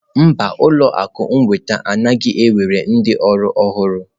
Mba, ụlọ akụ nnweta anaghị ewere ndị ọrụ ọhụrụ.